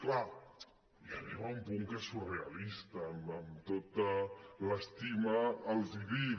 clar ja arriba a un punt en què és surrea·lista amb tota l’estima els hi dic